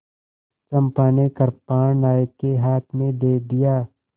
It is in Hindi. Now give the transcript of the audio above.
चंपा ने कृपाण नायक के हाथ में दे दिया